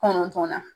Kɔnɔntɔnnan